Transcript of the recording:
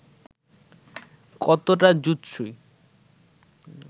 কতটা যুৎসই